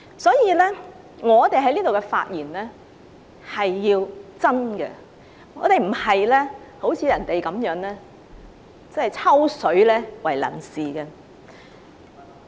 所以，我們在這裏的發言必須真，而並非像人家那樣以"抽水"為能事。